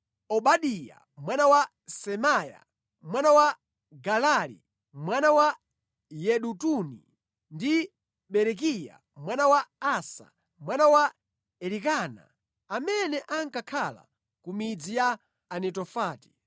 Obadiya mwana wa Semaya mwana wa Galali, mwana wa Yedutuni ndi Berekiya mwana wa Asa, mwana wa Elikana, amene ankakhala ku midzi ya Anetofati.